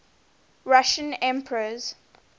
russian emperors